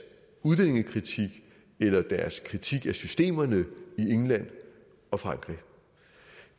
udlændingekritik eller deres kritik af systemerne i england og frankrig